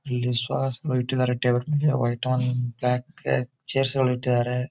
ಇಲ್ಲಿ ಶ್ವಾಸ್ ನು ಇಟ್ಟಿದಾರೆ ಟೇಬಲ್ ಮೇಲೆ ವೈಟ್ ಆನ್ ಬ್ಲಾಕ್ ಚೈರ್ಸ್ ಗಳನ್ನ ಇಟ್ಟಿದಾರೆ.